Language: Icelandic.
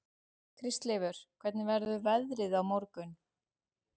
Kristleifur, hvernig verður veðrið á morgun?